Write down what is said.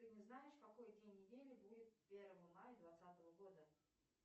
ты не знаешь какой день недели будет первого мая двадцатого года